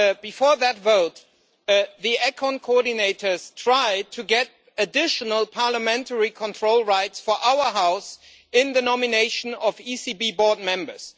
Before this vote, the ECON coordinators tried to get additional parliamentary control rights for our House in the nomination of ECB board members.